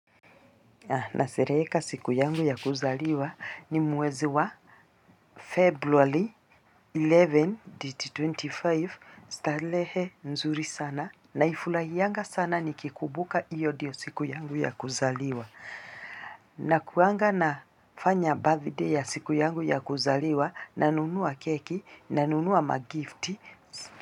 Nashereheka siku yangu ya kuzaliwa ni mwezi wa February eleven date twenty five starehe nzuri sana naifurahianga sana nikikumbuka hiyo ndiyo siku yangu ya kuzaliwa. Nakuanga nafanya birthday ya siku yangu ya kuzaliwa nanunua keki na nunua magifti.